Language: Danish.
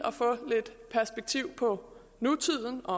perspektiv på nutiden og